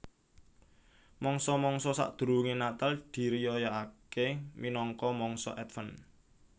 Mangsa mangsa sadurungé Natal diriyayakaké minangka mangsa Adven